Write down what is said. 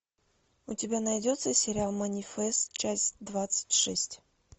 у тебя найдется сериал манифест часть двадцать шесть